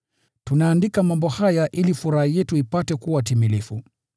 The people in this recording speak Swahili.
Tunaandika mambo haya ili furaha yetu ipate kuwa timilifu.